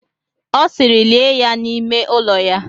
Ọ sịịrị, lie ya n'ime ụlọ ya!